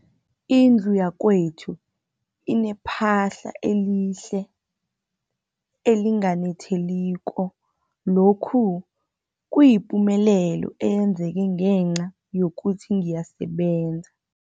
Indlu yakwethu inephahla elihle, elinganetheliko, lokhu kuyipumelelo eyenzeke ngenca yokuthi ngiyasebenza.